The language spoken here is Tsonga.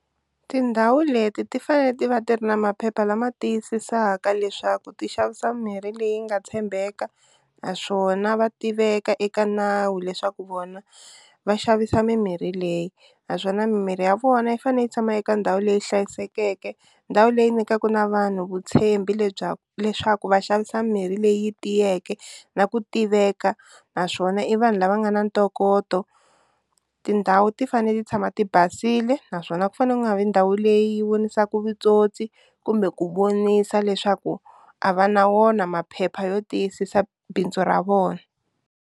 Tindhawu leti ti fanele ti va ti ri na maphepha lama tiyisisaka leswaku ti xavisa mimirhi leyi nga tshembeka naswona va tiveka eka nawu leswaku vona va xavisa mimirhi leyi, naswona mimirhi ya vona yi fanele yi tshama eka ndhawu leyi hlayisekeke ndhawu leyi nyikaka na vanhu vutitshembi lebyaku leswaku va xavisa mirhi leyi tiyeke na ku tiveka naswona i vanhu lava nga na ntokoto, tindhawu ti fanele ti tshama ti basile naswona ku fanele ku nga vi ndhawu leyi vonisaka vutsotsi kumbe ku vonisa leswaku a va na wona maphepha yo tiyisisa bindzu ra vona.